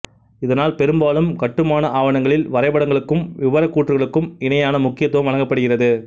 இதனால் பெரும்பாலும் கட்டுமான ஆவணங்களில் வரைபடங்களுக்கும் விபரக்கூற்றுக்களுக்கும் இணையான முக்கியத்துவம் வழங்கப்படுகிறது